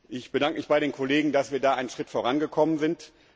Ich bedanke mich bei den Kollegen, dass wir da einen Schritt vorangekommen sind.